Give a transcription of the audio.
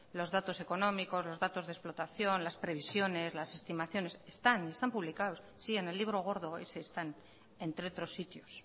los datos económicos los datos de explotación las previsiones las estimaciones están publicados sí en el libro gordo ese están entre otros sitios